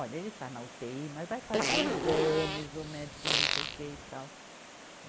Olha, ele está na utêi, mas vai fazer exames, o médico não sei o que e tal.